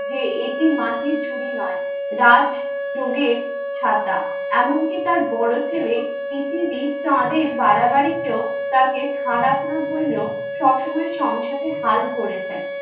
যে এটি মাটির ঝুড়ি নয়, রাজ্ যোগের ছাতা। এমনকি তার বড়ো ছেলে পৃথিবী চাঁদের বাড়াবাড়িতে ও তাকে খারাপ না বললে ও সবসময় সংসারের হাল ধরেছেন।